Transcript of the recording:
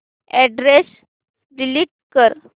address delete कर